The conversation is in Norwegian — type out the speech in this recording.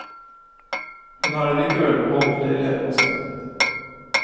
Hun har allikevel beholdt leiligheten sin.